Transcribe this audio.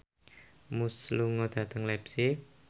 Muse lunga dhateng leipzig